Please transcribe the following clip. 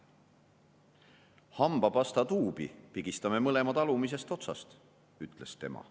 // hambapastatuubi pigistame mõlemad / alumisest otsast, / ütles tema.